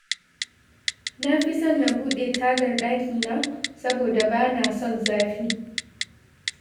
Na fi son na buɗe tagar ɗakina, saboda ba na son zafi